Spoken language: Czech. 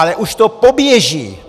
Ale už to poběží!